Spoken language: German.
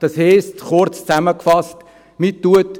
Kurz zusammengefasst heisst das: